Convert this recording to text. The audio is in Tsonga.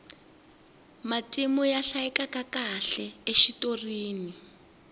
matimu ya hlayekakahle exitorini